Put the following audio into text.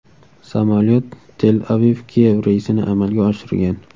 Samolyot Tel-AvivKiyev reysini amalga oshirgan.